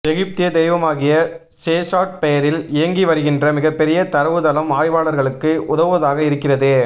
எகிப்திய தெய்வமாகிய சேஷாட் பெயரில் இயங்கி வருகின்ற மிகப் பெரிய தரவு தளம் ஆய்வாளர்களுக்கு உதவுவதாக இருக்கிறது